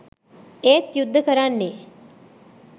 ඒත් යුද්ද කරන්නෙ